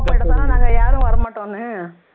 நாங்க யாரும் வரமாட்டோம்னு